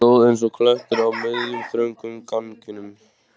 Hann stóð eins og klettur á miðjum, þröngum ganginum.